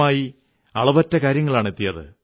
ശ്രീമാൻ അശ്വനി കുമാർ ചൌഹാൻ അയച്ച കവിത വായിക്കാം